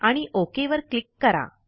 आणि ओक वर क्लिक करा